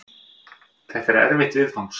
Þetta er erfitt viðfangs.